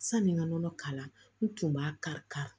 Sani n ka nɔnɔ k'a la n tun b'a kari ka